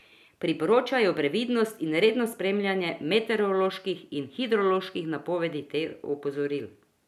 Priporočajo previdnost in redno spremljanje meteoroloških in hidroloških napovedi ter opozoril.